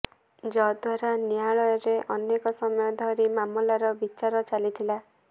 ଯଦ୍ୱାରା ନ୍ୟାୟାଳୟରେ ଅନେକ ସମୟ ଧରି ମାମଲାର ବିଚାର ଚାଲିଥିଲା